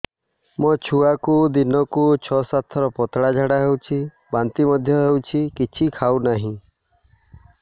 ମୋ ଛୁଆକୁ ଦିନକୁ ଛ ସାତ ଥର ପତଳା ଝାଡ଼ା ହେଉଛି ବାନ୍ତି ମଧ୍ୟ ହେଉଛି କିଛି ଖାଉ ନାହିଁ